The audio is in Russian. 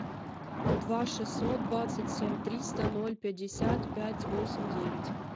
два шестьсот двадцать семь триста ноль пятьдесят пять восемь девять